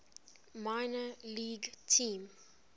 minor league team